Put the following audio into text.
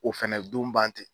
Ko fɛnɛ don ban ten